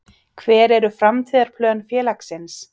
Hver eru framtíðarplön félagsins?